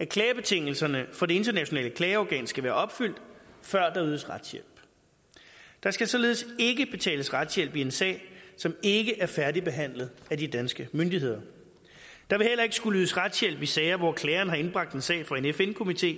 at klagebetingelserne for det internationale klageorgan skal være opfyldt før der ydes retshjælp der skal således ikke betales retshjælp i en sag som ikke er færdigbehandlet af de danske myndigheder der vil heller ikke skulle ydes retshjælp i sager hvor klageren har indbragt en sag for en fn komité